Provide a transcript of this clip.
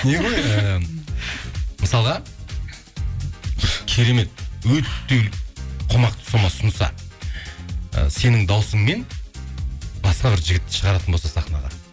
не ғой ііі мысалға керемет өте қомақты сома ұсынса ы сенің дауысыңмен басқа бір жігітті шығаратын болса сахнаға